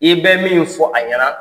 I bɛ min fɔ a ɲɛna